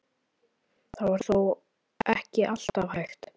Þetta var þó ekki alltaf hægt.